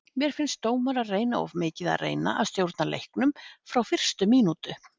Mér finnst dómarar reyna of mikið að reyna að stjórna leiknum frá fyrstu mínútu.